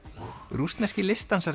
rússneski